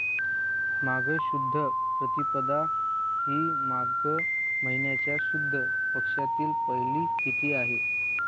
माघ शुद्ध प्रतिपदा ही माग महिन्याच्या शुद्ध पक्षातील पहिली तिथी आहे